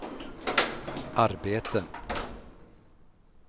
arbete